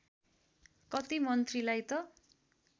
कति मन्त्रीलाई त